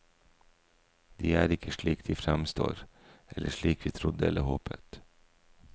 De er ikke slik de fremstår, eller slik vi trodde eller håpet.